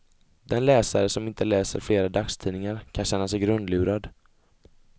Den läsare som inte läser flera dagstidningar kan känna sig grundlurad.